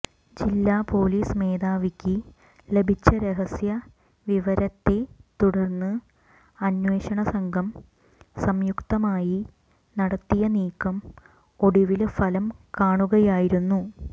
ജില്ലാ പോലീസ് മേധാവിക്ക് ലഭിച്ച രഹസ്യ വിവരത്തെ തുടര്ന്ന് അന്വേഷണ സംഘം സംയുക്തമായി നടത്തിയ നീക്കം ഒടുവില് ഫലം കാണുകയായിരുന്നു